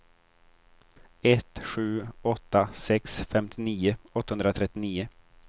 ett sju åtta sex femtionio åttahundratrettionio